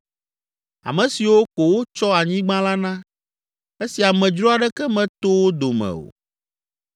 ame siwo ko wotsɔ anyigba la na, esi amedzro aɖeke meto wo dome o.